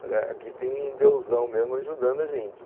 Falei, aqui tem um deusão mesmo ajudando a gente.